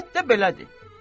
Əlbəttə belədir.